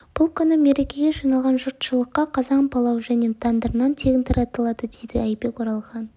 бұл күні мерекеге жиналған жұртшылыққа қазан палау және тандыр нан тегін таратылады дейді айбек оралхан